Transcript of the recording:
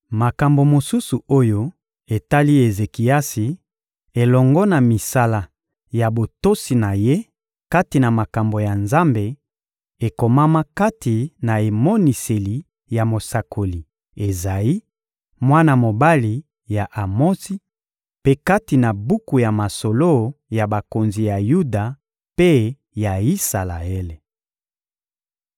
Makambo mosusu oyo etali Ezekiasi elongo na misala ya botosi na ye kati na makambo ya Nzambe, ekomama kati na emoniseli ya mosakoli Ezayi, mwana mobali ya Amotsi, mpe kati na buku ya masolo ya bakonzi ya Yuda mpe ya Isalaele.